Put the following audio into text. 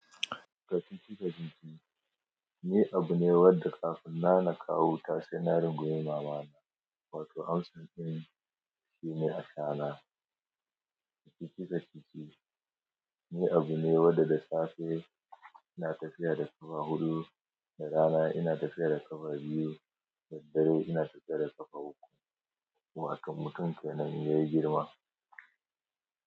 Kacici-kacici ni abu ne wanda kafin na na kawo ta sai na rungumi mama na, wato amsa in shi ne asha na. Kacici-kacici ni abu ne wanda da safe ina tafiya da ƙafa hudu, da rana ina tafiya da ƙafa biyu, da dare ina tafiya da ƙafa uku. Watan mutum kenan ya yi girma.